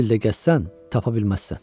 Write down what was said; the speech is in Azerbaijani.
100 il də gəzsən, tapa bilməzsən.